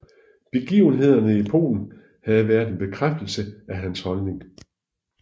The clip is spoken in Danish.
Begivenhederne i Polen havde været en bekræftelse af hans holdning